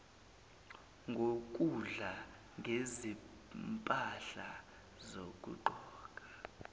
ngokudla ngezimpahla zokugqoka